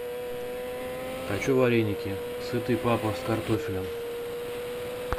хочу вареники сытый папа с картофелем